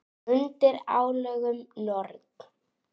Undir álögum Norn!